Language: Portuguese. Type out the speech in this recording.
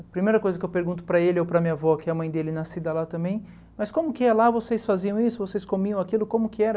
A primeira coisa que eu pergunto para ele ou para minha avó, que é a mãe dele nascida lá também, mas como que é lá, vocês faziam isso, vocês comiam aquilo, como que era?